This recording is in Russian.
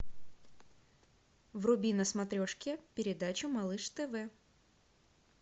вруби на смотрешке передачу малыш тв